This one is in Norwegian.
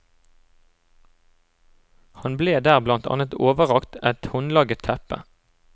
Han ble der blant annet overrakt et håndlaget teppe.